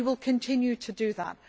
We will continue to do that.